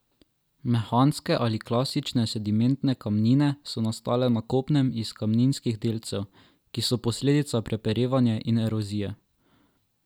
Mehanske ali klastične sedimentne kamnine so nastale na kopnem iz kamninskih delcev, ki so posledica preperevanja in erozije.